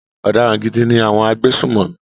Ọ̀daràn gidi ni àwọn agbésùnmọ̀mí.